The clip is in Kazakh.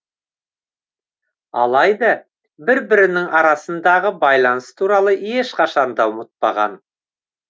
алайда бір бірінің арасындағы байланыс туралы ешқашанды ұмытпаған